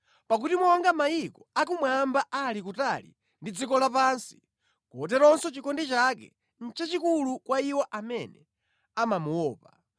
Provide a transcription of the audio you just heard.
Pakuti monga kumwamba kuli kutali ndi dziko lapansi, koteronso chikondi chake nʼchachikulu kwa iwo amene amamuopa;